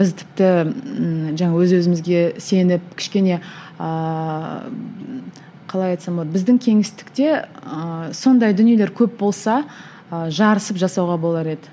біз тіпті ііі жаңа өз өзімізге сеніп кішкене ііі қалай айтсам болады біздің кеңістікте ыыы сондай дүниелер көп болса ы жарысып жасауға болар еді